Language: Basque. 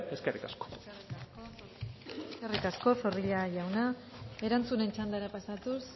eskerrik asko eskerrik asko zorrilla jauna erantzunen txandara pasatuz